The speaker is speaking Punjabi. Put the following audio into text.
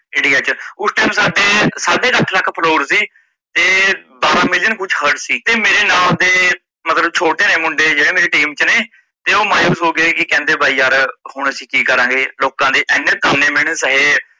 ਓਚ ਸਾਡੇ ਸਾਡੇ ਕ ਅੱਠ ਲੱਖ follower ਸੀ ਤੇ ਸਤਰਾਂ million ਕੁਝ ਹੋਰ ਸੀ ਤੇ ਮੇਰੇ ਨਾਲ ਦੇ ਮਤਲਬ ਛੋਟੇ ਨੇ ਮੁੰਡੇ ਜੇੜੇ ਮੇਰੀ team ਚ ਨੇ ਤੇ ਓਹ ਮਾਊਸ ਹੋਗੇ ਕਹਿੰਦੇ ਭਾਈ ਯਾਰ ਹੁਣ ਅਸੀਂ ਕੀ ਕਰਾਂਗੇ ਲੋਕਾ ਦੇ ਏਨੇ ਤਾਨੇ ਮੀਣੇ ਸਹਿ।